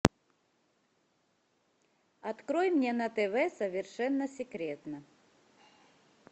открой мне на тв совершенно секретно